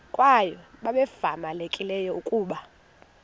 kwaye babevamelekile ukuba